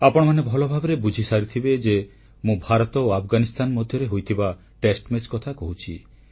ଆପଣମାନେ ଭଲଭାବେ ବୁଝିସାରିଥିବେ ଯେ ମୁଁ ଭାରତ ଓ ଆଫଗାନିସ୍ଥାନ ମଧ୍ୟରେ ହୋଇଥିବା ଟେଷ୍ଟମ୍ୟାଚ କଥା କହୁଛି